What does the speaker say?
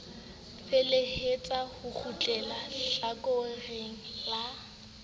felehetsa ho kgutleha hlakoreng la